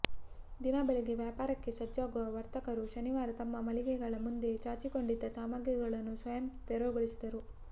ದಿನ ಬೆಳಿಗ್ಗೆ ವ್ಯಾಪಾರಕ್ಕೆ ಸಜ್ಜಾಗುವ ವರ್ತಕರು ಶನಿವಾರ ತಮ್ಮ ಮಳಿಗೆಗಳ ಮುಂದೆ ಚಾಚಿಕೊಂಡಿದ್ದ ಸಾಮಗ್ರಿಗಳನ್ನು ಸ್ವಯಂ ತೆರವುಗೊಳಿಸಿದರು